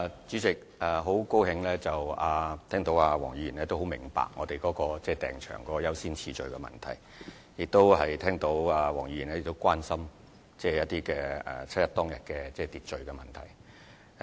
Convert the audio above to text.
主席，我很高興聽到黃議員明白我們為訂場申請編訂了優先次序，亦聽到黃議員關心7月1日的秩序問題。